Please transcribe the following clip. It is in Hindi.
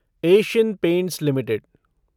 Asian Paints limited